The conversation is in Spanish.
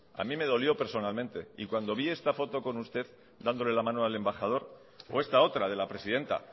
a mí me dolió personalmente y cuando vi esta foto con usted dándole la mano al embajador o esta otra de la presidenta